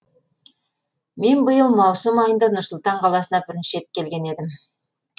мен биыл маусым айында нұр сұлтан қаласына бірінші рет келген едім